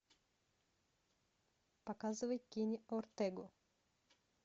показывай кенни ортега